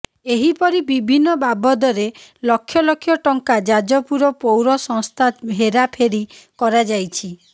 ଏହିପରି ବିଭିନ୍ନ ବାବଦରେ ଲକ୍ଷ ଲକ୍ଷ ଟଙ୍କା ଯାଜପୁର ପୌର ସଂସ୍ଥା ହେରାଫେରି କରାଯାଇଛି